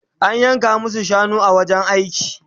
An yanka masu shanu a wajen aiki